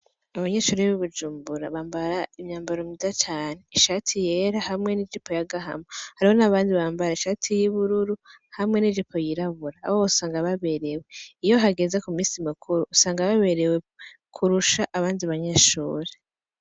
Abanyeshuri b'ibujumbura bambara imyambaro myiza cane ishati yera hamwe n'ijipo ya gahama, haribo n'abandi bambara ishati y'ibururu hamwe n'ijipo yirabura, abo bosanga baberewe iyo hageza ku misi mukuru usanga baberewe kurusha abandi banyeshuri.